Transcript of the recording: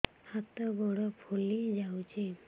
ହାତ ଗୋଡ଼ ଫୁଲି ଯାଉଛି